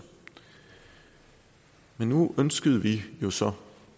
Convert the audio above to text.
men nu ønskede vi jo så